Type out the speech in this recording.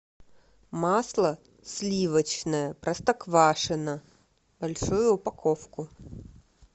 масло сливочное простоквашино большую упаковку